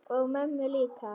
Og mömmu líka.